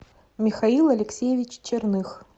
михаил алексеевич черных